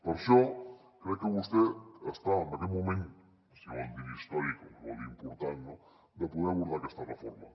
per això crec que vostè està en aquest moment si vol dir ne històric o si vol dir ne important de poder abordar aquesta reforma